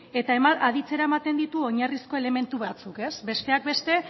eta aditzera ematen ditu oinarrizko elementu batzuk besteak beste